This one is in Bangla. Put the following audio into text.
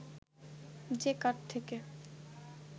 যে কাঠ থেকে